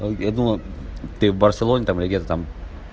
а я думал ты в барселоне там или где-то там